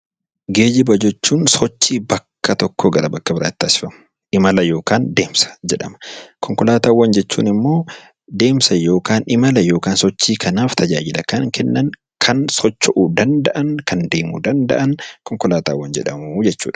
Geejjiba jechuun sochii bakka tokkoo gara bakka biraatti taasifamu, imala yookaan deemsa jedhama. Konkolaataawwan jechuun immoo adeemsa yookaan imala yookaan sochii kanaaf tajaajila kan kennan, kan socho'uu danda'an, kan deemuu danda'an konkolaataawwan jedhamu jechuudha.